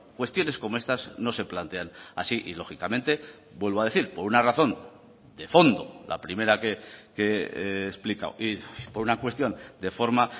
cuestiones como estas no se plantean así y lógicamente vuelvo a decir por una razón de fondo la primera que he explicado y por una cuestión de forma